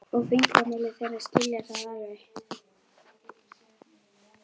og fingramálið, þeir skilja það alveg.